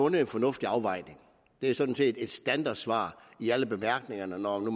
en fornuftig afvejning det er sådan set et standardsvar i alle bemærkningerne når nu